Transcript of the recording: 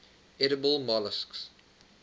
edible molluscs